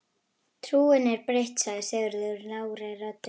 Trúin er breytt, sagði Sigurður lágri röddu.